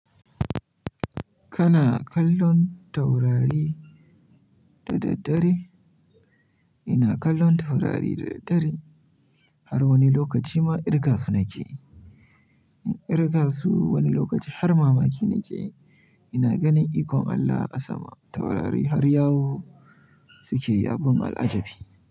Kana kallon taurari da daddare? Ina kallon taurari da daddare har wani lokaci ma kirga su nake. In kirga su wani lokaci har mamaki nake, ina ganin ikon Allah a sama. Taurari har yawo suke abun al'ajabi.